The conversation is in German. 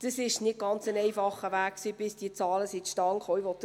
Es war ein nicht ganz einfacher Weg, bis diese Zahlen zustande gekommen sind.